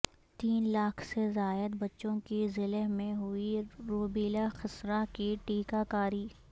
تین لاکھ سے زائد بچوں کی ضلع میں ہوئی روبیلا خسرہ کی ٹیکہ کاری